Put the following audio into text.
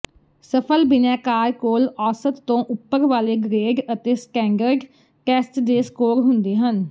ਸਫਲ ਬਿਨੈਕਾਰ ਕੋਲ ਔਸਤ ਤੋਂ ਉਪਰ ਵਾਲੇ ਗ੍ਰੇਡ ਅਤੇ ਸਟੈਂਡਰਡ ਟੈਸਟ ਦੇ ਸਕੋਰ ਹੁੰਦੇ ਹਨ